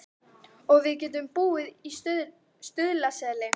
Og við getum búið í Stuðlaseli.